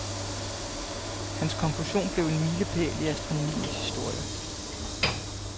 Hans konklusion blev en milepæl i astronomiens historie.